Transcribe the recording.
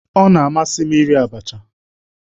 Ọ na-amasị m iri abacha